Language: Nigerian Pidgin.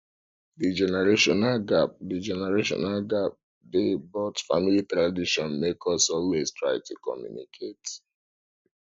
the generational gap the generational gap dey but family tradition make us always try to communicate